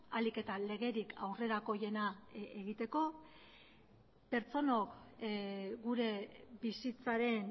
ahalik eta legerik aurrerakoiena egiteko pertsonok gure bizitzaren